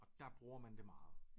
Og der bruger man det meget